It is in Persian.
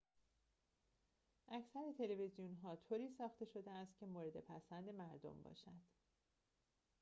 اکثر تلویزیون‌ها طوری ساخته شده‌است که مورد پسند مردم باشد